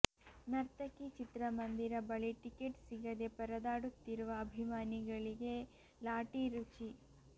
ನರ್ತಕಿ ಚಿತ್ರಮಂದಿರ ಬಳಿ ಟಿಕೆಟ್ ಸಿಗದೆ ಪರದಾಡುತ್ತಿರುವ ಅಭಿಮಾನಿಗಳಿಗೆ ಲಾಠಿ ರುಚಿ